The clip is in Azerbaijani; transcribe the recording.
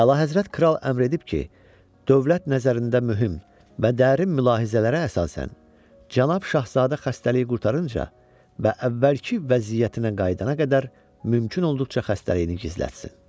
Əlahəzrət kral əmr edib ki, dövlət nəzərində mühüm və dərin mülahizələrə əsasən, Cənab Şahzadə xəstəliyi qurtarınca və əvvəlki vəziyyətinə qayıdana qədər mümkün olduqca xəstəliyini gizlətsin.